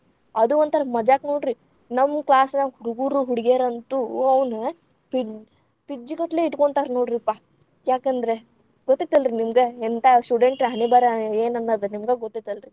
ಅದು ಒಂಥರಾ ಮಜಾಕ್‌ ನೋಡ್ರಿ. ನಮ್ಮೂ class ನ್ಯಾನು ಹುಡುಗುರು, ಹುಡಗ್ಯಾರಂತು ಅವ್ನ ಪಿಜ್~ ಪಿಜ್ಜಿಗಟ್ಟಲೇ ಇಟ್ಕೊಂತಾರ್‌ ನೋಡ್ರಿಪ್ಪಾ. ಯಾಕಂದ್ರ, ಗೊತ್ತೈತಲ್ರಿ ನಿಮ್ಗ ಎಂತ್ಥಾ ‌ student ಹಣೆಬರಹ ಏನ ಅನ್ನೋದ್. ನಿಮ್ಗ ಗೊತ್ತೈತಲ್ರಿ.